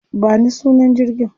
Ba ni sunan jirgin.